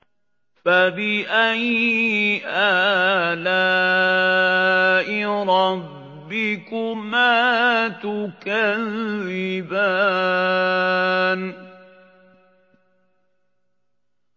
فَبِأَيِّ آلَاءِ رَبِّكُمَا تُكَذِّبَانِ